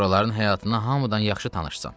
Oraların həyatına hamıdan yaxşı tanışsan.